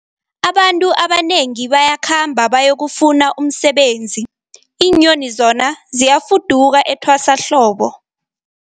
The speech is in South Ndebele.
Abantu abanengi bayakhamba bayokufuna umsebenzi, iinyoni zona ziyafuduka etwasahlobo.